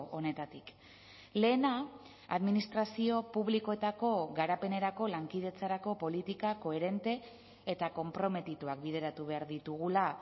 honetatik lehena administrazio publikoetako garapenerako lankidetzarako politika koherente eta konprometituak bideratu behar ditugula